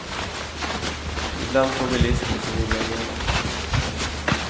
Ibland får bilisten sin vilja igenom.